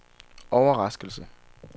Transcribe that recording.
overraskelse